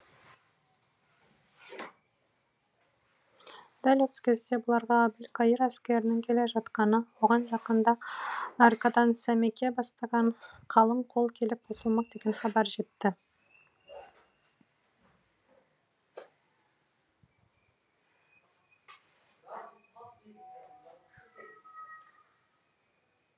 дәл осы кезде бұларға әбілқайыр әскерінің келе жатқаны оған жақында аркадан сәмеке бастаған қалың қол келіп қосылмақ деген хабар жетті